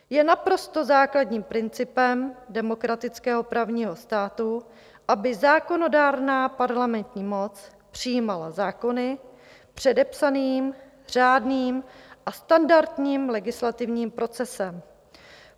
Je naprosto zásadním principem demokratického právního státu, aby zákonodárná parlamentní moc přijímala zákony předepsaným, řádným a standardním legislativním procesem.